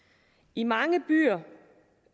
i mange byer